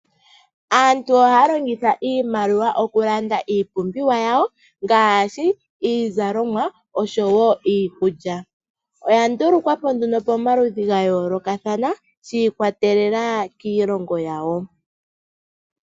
Aantu ohaya longitha iimaliwa okulanda iipumbiwa yawo ngaashi iizalomwa osho woo iikulya oya ndulukwapo nduno pomaludhi gayoolokathana shi ikwatelela kiilongo yawo.